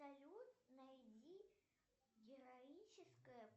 салют найди героическое